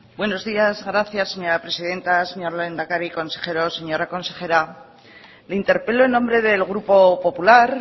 buenos días gracias señora presidenta señor lehendakari consejeros señora consejera le interpelo en nombre del grupo popular